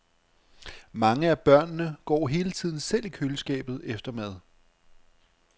Mange af børnene går hele tiden selv i køleskabet efter mad.